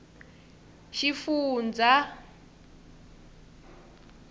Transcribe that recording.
xifundzha